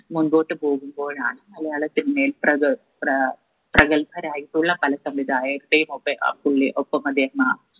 മുമ്പോട്ടു പോകുമ്പോഴാണ് മലയാള cinema യിൽ പ്രഗ പ്രാ പ്രഗത്ഭരായിട്ടുള്ള പല സംവിധായകരെയും ഒക്കെ ഏർ പുള്ളി ഒപ്പം അദ്ദേഹം